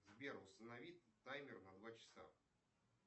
сбер установи таймер на два часа